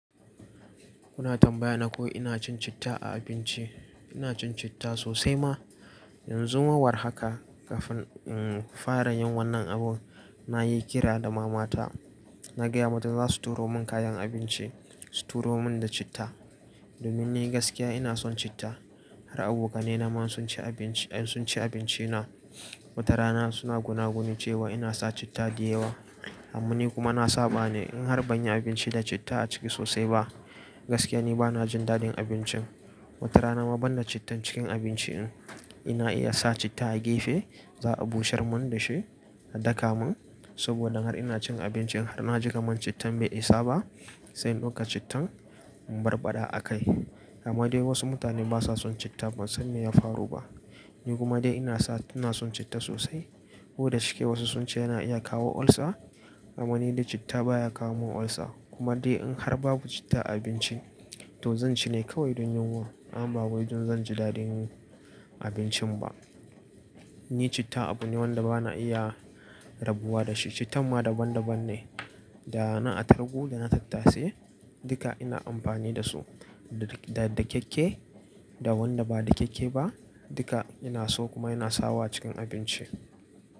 Kuna tambaya na ko ina cin citta a abinci? Ina cin citta sosai ma. Yanzu ma war haka kafin, um, fara yin wannan abun na yi kira da mama ta. Na gaya mata za su turo mun kayan abinci, su turo mun da citta. Domin ni gaskiya ina son citta. Har abokanai na ma sun ci abinci, sun ci abinci na. Wata rana suna gunaguni cewa ina sa citta da yawa. Amma ni kuma na saba ne in har ban yi abinci da citta a ciki sosai ba, gaskiya ni ba na jin daɗin abincin. Wata rana ma ban da cittan cikin abinci in, ina iya sa citta a gefe, za a bushar mun da shi a daka mun saboda har ina cin abincin har na ji kaman cittan bai isa ba, sai in ɗauka cittan in barbaɗa a kai. Amma dai wasu mutane ba sa son citta ban san me ya faru ba. Ni kuma dai ina sa, ina son citta sosai. Ko da shike wasu sun ce yana iya kawo olsa, amma ni dai citta baya kawo mun olsa. Kuma dai in har babu citta a abincin, to zan ci ne kawai don yunwa. Amma ba wai don zan ji daɗin abincin ba. Ni citta abu ne wanda ba na iya rabuwa da shi. Cittan ma daban daban ne. Da na attariku, da na tattase, duka ina amfani da su. Da, da kekke, da wanda ba da kekke ba duka ina so kuma ina sawa cikin abinci.